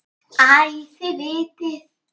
Æ, þið vitið.